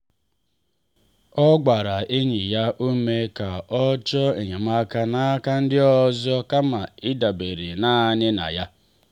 ọ gbaara enyi ya ume ka o chọọ enyemaka n’aka ndị ọzọ kama ịdabere naanị na ya.